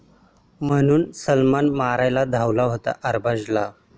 ...म्हणून सलमान मारायला धावला होता अरबाजला!